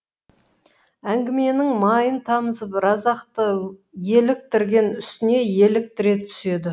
әңгіменің майын тамызып разақты еліктірген үстіне еліктіре түседі